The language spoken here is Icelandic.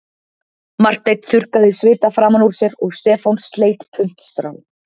Marteinn þurrkaði svita framan úr sér og Stefán sleit puntstrá